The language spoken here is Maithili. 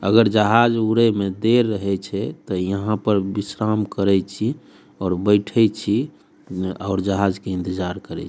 अगर जहाज उड़े में देर रहे छे तो यहाँ पर बिश्राम करई छी और बैठई छी और जहाज के इंतज़ार करई --